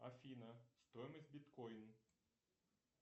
афина стоимость биткоин